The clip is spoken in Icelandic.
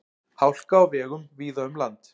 Hálka á vegum víða um land